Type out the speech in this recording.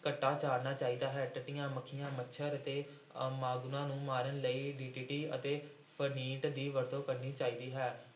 ਘੱਟਾ ਝਾੜਨਾ ਚਾਹੀਦਾ ਹੈ, ਟਿੱਡੀਆਂ, ਮੱਖੀਆਂ, ਮੱਛਰ ਤੇ ਅਹ ਮਾਂਗਣੂਆਂ ਨੂੰ ਮਾਰਨ ਲਈ DDT ਅਤੇ ਫਨਿੱਟ ਦੀ ਵਰਤੋਂ ਕਰਨੀ ਚਾਹੀਦੀ ਹੈ।